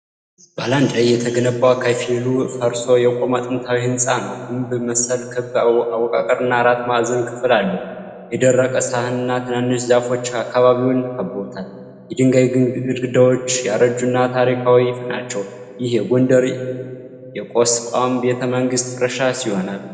ባላንድ ላይ የተገነባ፣ ከፊል ፈርሶ የቆመ ጥንታዊ ሕንጻ ነው። ግንብ መሰል ክብ አወቃቀርና አራት ማዕዘን ክፍል አለው። የደረቀ ሳርና ትናንሽ ዛፎች አከባቢውን ከበውታል። የድንጋይ ግድግዳዎች ያረጁና ታሪካዊ ናቸው። ይህ የጎንደር የቆስቋም ቤተ መንግስት ፍርስራሽ ይሆን?